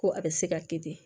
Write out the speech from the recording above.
Ko a bɛ se ka kɛ ten de